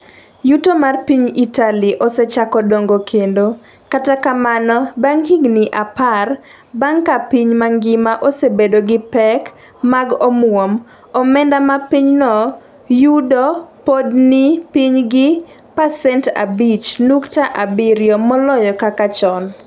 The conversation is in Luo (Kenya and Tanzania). yuto mar piny Italy osechako dongo kendo, kata kamano, bang’ higni apar bang’ ka piny mangima osebedo gi pek mag omwom, omenda ma pinyno yudo pod ni piny gi pasent abich nukta abiriyo moloyo kaka chon.